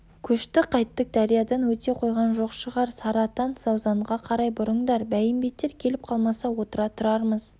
көшті қайттік дариядан өте қойған жоқ шығар сарыатан заузанға қарай бұрыңдар бәйімбеттер келіп қалмаса отыра тұрармыз